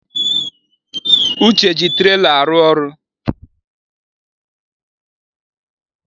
Uche ji trela arụ ọrụ